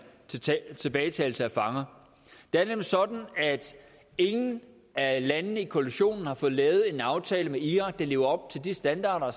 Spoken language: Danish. tilbagetagelse af fanger det er nemlig sådan at ingen af landene i koalitionen har fået lavet en aftale med irak der lever op til de standarder